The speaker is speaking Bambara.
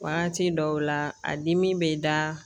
Wagati dɔw la a dimi bɛ da